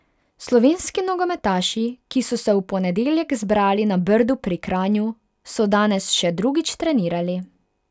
Slovenski nogometaši, ki so se v ponedeljek zbrali na Brdu pri Kranju, so danes še drugič trenirali.